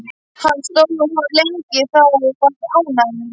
Hann stóð og horfði lengi á þá og var ánægður.